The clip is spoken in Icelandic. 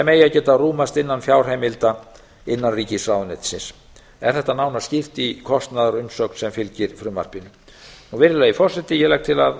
eigi að geta innan fjárheimilda innanríkisráðuneytisins er þetta nánar skýrt í kostnaðarumsögn sem fylgir frumvarpinu virðulegi forseti ég legg til að